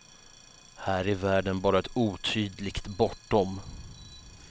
Här är världen bara ett otydligt bortom.